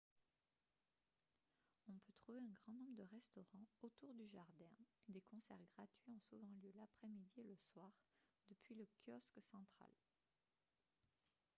on peut trouver un grand nombre de restaurants autour du jardin et des concerts gratuits ont souvent lieu l'après-midi et le soir depuis le kiosque central